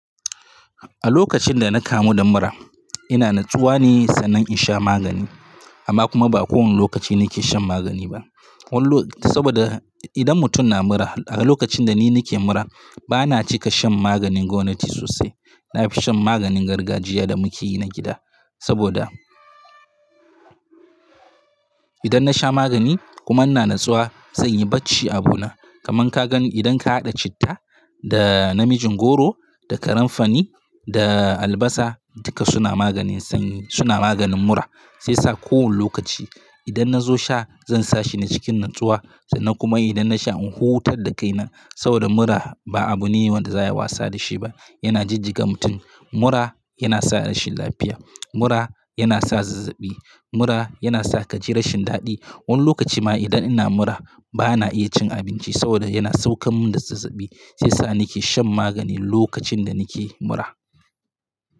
A lokacin da na kamu da mura, ina natsuwa ne sannan in sha magani. Amma kuma ba kowane lokaci nake shan magani ba. Wallo saboda idan mutum na mura, a lokacin da ni nake mura bana cika shan maganin gomnati sosai. Na fi shan maganin gargajiya da muke yi na gida. Saboda idan na sha magani kuma ina natsuwa, zanyi bacci abu na. Kaman ka gani idan ka haɗa citta da namijin goro da karenfani da albasa, duka suna maganin sanyi, suna maganin mura. Sai sa kowane lokaci idan na zo sha, zan sa shi na cikin natsuwa sannan kuma idan na sha in hotar da kaina. Saboda mura ba abu ne wanda za a yi wasa da shi ba, yana jijjiga mutum. Mura yana sa rashin lafiya, mura yana sa zazzabi, mura yana sa ka ji rashin daɗi. Wani lokaci ma idan ina mura bana iya cin abinci saboda yana sauke min da zazzabi. Sai sa nake shan magani lokacin da nake mura.